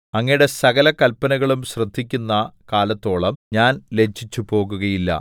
അങ്ങയുടെ സകല കല്പനകളും ശ്രദ്ധിക്കുന്ന കാലത്തോളം ഞാൻ ലജ്ജിച്ചു പോകുകയില്ല